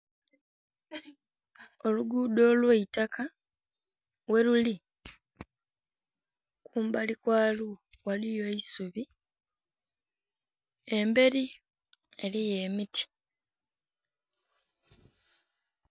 Olugudho olwaitaka ghe lili kumbali kwalwo ghaligho eisubi embeli eliyo emiti.